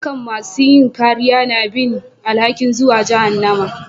Dukan masun yin kariya na bin alhaki'n zuwan jahannama.